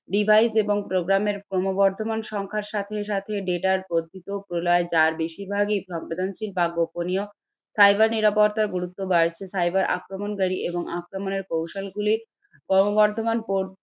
Device এবং program এর ক্রমবর্ধমান সংখ্যার সাথে সাথে data র যার বেশির ভাগ ই সংবেদনশীল বা গোপনীয়। cyber নিরাপত্তার গুরুত্ব cyber আক্রমণকারী এবং আক্রমণের কৌশলগুলি ক্রমবর্ধমান